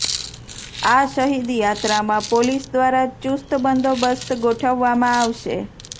આ શહીદ યાત્રામાં પોલીસ દ્વારા ચુસ્ત બંદોબસ્ત ગોઠવવામાં આવશે